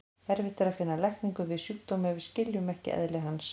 Erfitt er að finna lækningu við sjúkdómi ef við skiljum ekki eðli hans.